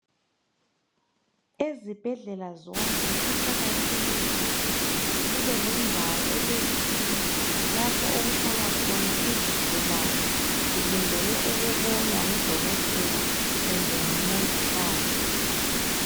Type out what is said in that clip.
Ezibhedlela zonke. kuqakathekile ukuthi kubelendawo elezitulo, lapha okuhlala. khona izigulane. Zilindele ukubonwa ngudokotela kumbe ngumongikazi.